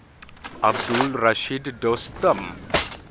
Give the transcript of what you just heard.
abdul rashid dostum